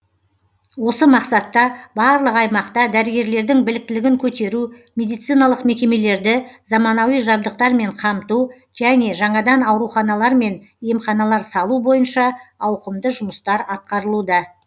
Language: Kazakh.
осы мақсатта барлық аймақта дәрігерлердің біліктілігін көтеру медициналық мекемелерді заманауи жабдықтармен қамту және жаңадан ауруханалар мен емханалар салу бойынша ауқымды жұмыстар атқарылуда